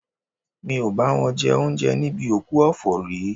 Mi ò bá wọn jẹ oúnjẹ níbi òkú ọ̀fọ̀ rí